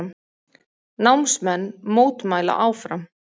Námsmenn mótmæla áfram